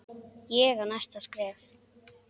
Ég á næsta skref.